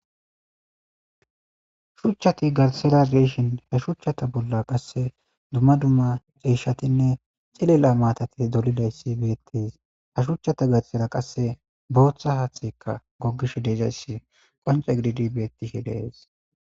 Shuchchati garsera deeshin he shuchchata bolla qasse dumma dumma ceeshatinne cilela maatati dolidayssi beettis ha shuchchata garsera qasse booththa haatxekka goggish deezayssi qonce gididi beettihi de7ees.